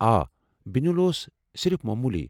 آ، بُنیل اوس صرف موموُلی۔